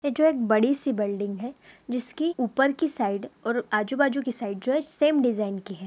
ये जो एक बड़ी सी बिल्डिंग है जिसकी ऊपर की साइड और आजू-बाजू के साइड जो है सेम डिजाईन की है।